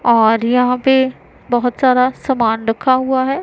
और यहां पे बहुत सारा समान रखा हुआ है।